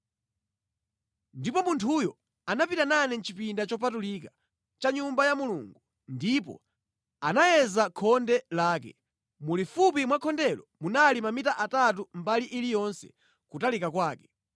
Ndipo munthuyo anapita nane mʼchipinda chopatulika cha Nyumba ya Mulungu ndipo anayeza khonde lake; mulifupi mwa khondelo munali mamita atatu mbali iliyonse kutalika kwake.